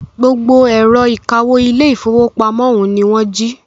Gbogbo ẹ̀rọ ìkawó ilé ìfọwọ́pamo ọ̀ún ní wọ́n jí.